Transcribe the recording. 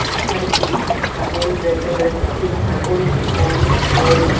এখানে একটি ছাগল দেখা যাচ্ছে ছাগলটি অনেক বড়।